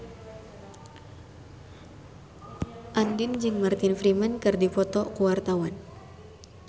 Andien jeung Martin Freeman keur dipoto ku wartawan